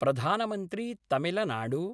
प्रधानमन्त्री तमिलनाडू